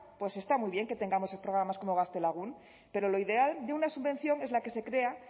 está muy bien que tengamos programas como gaztelagun pero lo ideal de una subvención es la que se crea